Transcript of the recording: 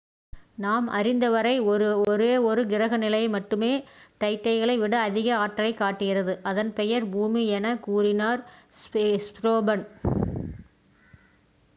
நாம் அறிந்தவரை ஒரே ஒரு கிரக நிலை மட்டுமே டைட்டனை விட அதிக ஆற்றலைக் காட்டுகிறது அதன் பெயர் பூமி எனக் கூறினார் ஸ்டோஃபன்